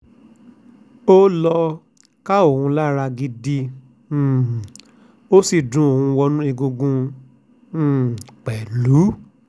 ó lọ ká òun lára gidi um ó sì dun òun wọnú egungun um pẹ̀lú